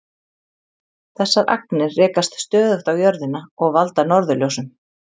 Þessar agnir rekast stöðugt á jörðina og valda norðurljósum.